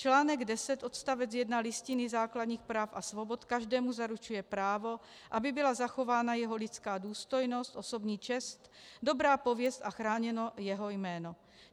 Článek 10 odst. 1 Listiny základních práv a svobod každému zaručuje právo, aby byla zachována jeho lidská důstojnost, osobní čest, dobrá pověst a chráněno jeho jméno.